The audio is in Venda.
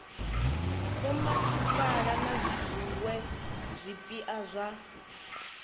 vhomasipala na zwiwe zwipia zwa